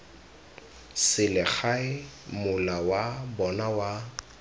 selegae mola wa bona wa